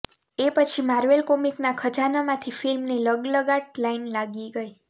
એ પછી માર્વેલ કોમિકના ખજાનામાંથી ફિલ્મની લગલગાટ લાઈન લાગી ગઈ